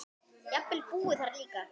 Jafnvel búið þar líka.